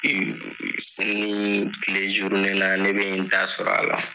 Seli tile la ne bɛ n ta sɔrɔ a la